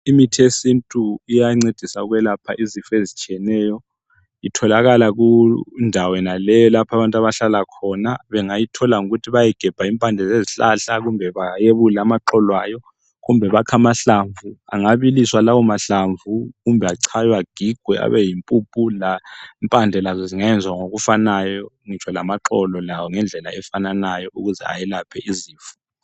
Imithi yesintu iyancedisa ukwelapha izifo ezitshiyeneyo. Itholakala kundawo yonaleyo, lapho, abantu abahlala khona. Bengayithola ngokuthi bayegebha impande zezihlahla. Kumbe bayebule amaxolo ayo. Kumbe bakhe amahlamvu. Angabiliswa lawomahlamvu, kumbe achaywe, agigwe. Abeyimpumphu. Lempande lazo zingenziwa ngokufanayo. Ngitsho lamaxolo, lawo, ngendlela efanayo. Ukuze ayelaphe izifo.